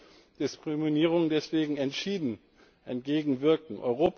Wir müssen Diskriminierungen deswegen entschieden entgegenwirken.